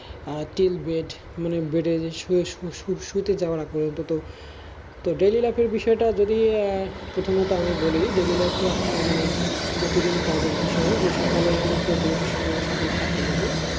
আহ till bed মানে bed যে সু~সু~শুতে যাওয়ার আগে পর্যন্ত তো daily-life এর বিষয়েটা যদি প্রথমত আমি বলি daily-life টা মানে প্রতিদিন কাজের বিষয়ে যে সকাল আমার তো duty শুরু হয় সকাল সাতটার মধ্যে